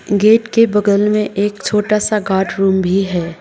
Gate के बगल में एक छोटा सा गार्ड रूम भी है।